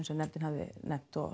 sem nefndin hafði nefnt og